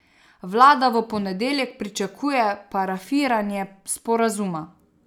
Vlada v ponedeljek pričakuje parafiranje sporazuma.